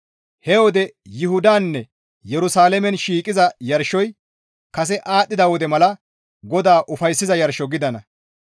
He wode Yuhudaninne Yerusalaamen shiiqiza yarshoy kase aadhdhida wode mala GODAA ufayssiza yarsho gidana.